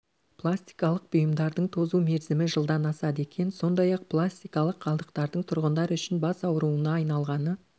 пластикалық бұйымдардың тозу мерзімі жылдан асады екен сондай-ақ пластикалық қалдықтардың тұрғындар үшін бас ауруына айналғаны